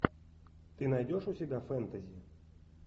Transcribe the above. ты найдешь у себя фэнтези